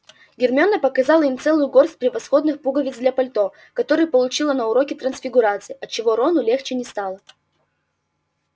гермиона показала им целую горсть превосходных пуговиц для пальто которые получила на уроке трансфигурации отчего рону легче не стало